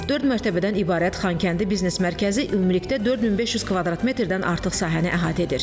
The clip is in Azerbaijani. Dörd mərtəbədən ibarət Xankəndi biznes mərkəzi ümumilikdə 4500 kvadrat metrdən artıq sahəni əhatə edir.